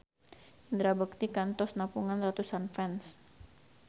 Indra Bekti kantos nepungan ratusan fans